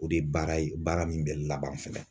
O de ye baara ye baara min bɛ laban fɛnɛ.